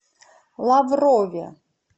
лаврове